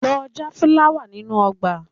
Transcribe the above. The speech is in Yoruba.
Lọ já fúláwà nínú ọgbà!